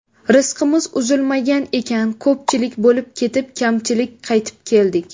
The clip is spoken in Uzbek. Rizqimiz uzilmagan ekan, ko‘pchilik bo‘lib ketib, kamchilik qaytib keldik.